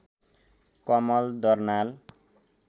Kamal Darnal